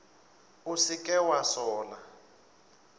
o se ke wa sola